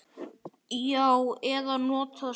Já. eða notað símann.